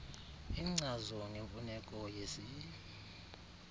inkcazo ngemfuneko yesi